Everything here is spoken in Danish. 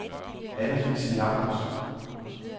Anne-Lise Jacobsen